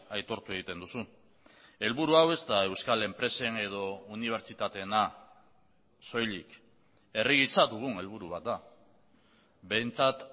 aitortu egiten duzu helburu hau ez da euskal enpresen edo unibertsitateena soilik herri gisa dugun helburu bat da behintzat